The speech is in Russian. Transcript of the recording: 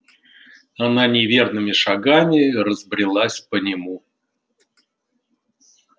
она неверными шагами разбрелась по нему